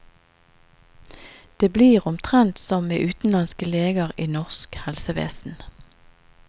Det blir omtrent som med utenlandske leger i norsk helsevesen.